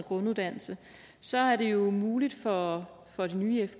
grunduddannelse så er det jo muligt for for den nye